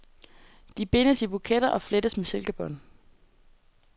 De bindes i buketter og flettes med silkebånd.